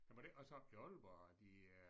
Jamen var det ikke også oppe i Aalborg at de øh